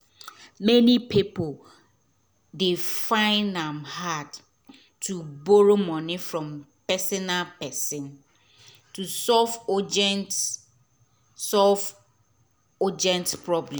many pipo dey fine am hard to borrow moni from personal person to solve urgent solve urgent problem